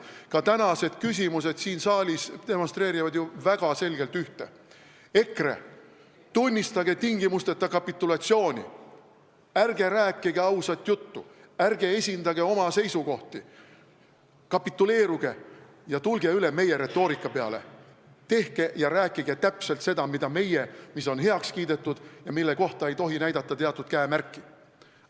Ka tänased küsimused siin saalis demonstreerivad ju väga selgelt ühte: EKRE, tunnistage tingimusteta kapitulatsiooni, ärge rääkige ausat juttu, ärge esindage oma seisukohti, kapituleeruge ja tulge üle meie retoorika peale, tehke ja rääkige täpselt seda, mida meie, mis on heaks kiidetud ja mille kohta ei tohi näidata teatud käemärki!